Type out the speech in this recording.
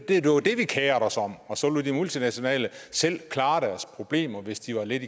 vi kerede os om og så lod de multinationale selv klare deres problemer hvis de var lidt